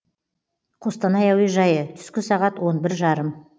қостанай әуежайы түскі сағат он бір жарым